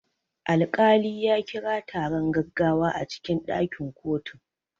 Alkali ya kira taron gaggawa a cikin ɗakin kotu.